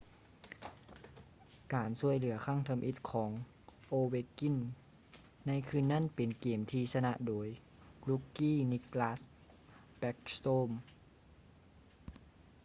ການຊ່ວຍເຫຼືອຄັ້ງທຳອິດຂອງ ovechkin ໃນຄືນນັ້ນເປັນເກມທີ່ຊະນະໂດຍ rookie nicklas backstrom